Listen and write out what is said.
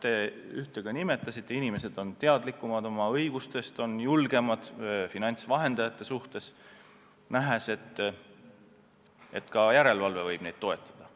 Te ühte nimetasite: inimesed on oma õigustest teadlikumad, on julgemad finantsvahendajatelt aru pärima, nähes, et ka järelevalve võib neid toetada.